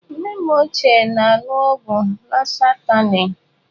Nne m ochie na-aṅụ ọgwụ lọsahtanị.